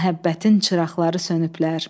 Məhəbbətin çıraqları sönüblər.